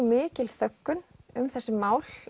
mikil þöggun um þessi mál